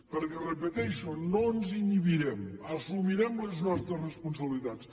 perquè ho repeteixo no ens inhibirem assumirem les nostres responsabilitats